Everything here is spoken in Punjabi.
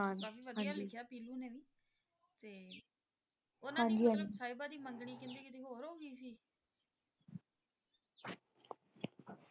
ਵਧੀਆ ਲਿਖਿਆ ਪੀਲੂ ਨੇ ਤੇ ਓਹਨਾ ਨੇ ਹਾਂਜੀ ਹਾਂਜੀ ਸਾਹਿਬਾ ਦੀ ਮੰਗਣੀ ਕਹਿੰਦੇ ਕਿਤੇ ਹੋਰ ਹੋ ਗਈ ਸੀ